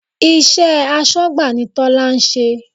Iṣẹ́ asọ́gbà ni Tola ń ṣe